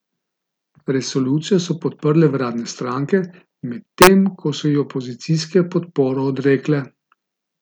Resolucijo so podprle vladne stranke, medtem ko so ji opozicijske podporo odrekle.